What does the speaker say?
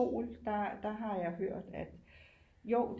Sol der har jeg hørt at jo